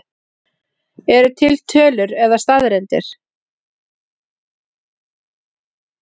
Eru til tölur eða staðreyndir?